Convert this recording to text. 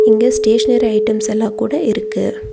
இங்க stationery items எல்லா கூட இருக்கு.